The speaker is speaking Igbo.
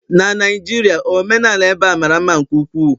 na Naijiria, omenala ebe a mara mma nke ukwuu